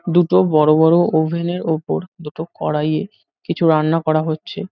দুটো বড় বড় ওভেন -এর ওপর দুটো কড়াইয়ে কিছু রান্না করা হচ্ছে ।